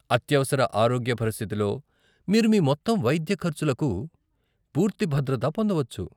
అత్యవసర ఆరోగ్య పరిస్థితిలో, మీరు మీ మొత్తం వైద్య ఖర్చులకు పూర్తి భద్రత పొందవచ్చు.